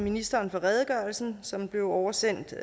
ministeren for redegørelsen som blev oversendt